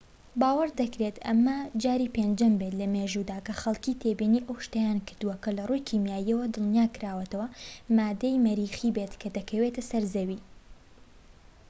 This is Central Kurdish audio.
باوەڕ دەکرێت ئەمە جاری پێنجەم بێت لە مێژوودا کە خەڵکی تێبینی ئەو شتەیان کردووە کە لە ڕووی کیماییەوە دڵنیاكراوەتەوە ماددەی مەریخی بێت کە دەکەوێتە سەر زەوی